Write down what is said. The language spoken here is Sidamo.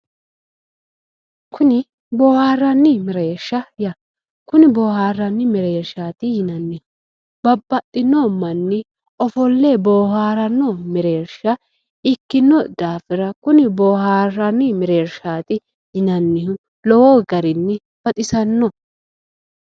Kuni boharanni mereersha ikkanna ,kuni boharanni mereershati yinnanni ,babbaxino manni ofolle bohaarrano mereersha ikkino daafira kuni bohaaranni mereershati yannannihu lowo garinni baxisano